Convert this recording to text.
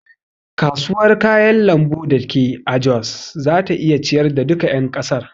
Kasuwar kayan lambu dake a jos zata iya ciyar da duka ƴan kasar.